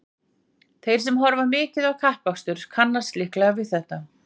þeir sem horfa mikið á kappakstur kannast líklega við þetta